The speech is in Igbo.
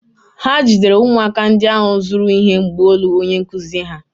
Ha jidere ụmụaka ndị ahụ zuru ihe mgbaolu onye nkụzi ha.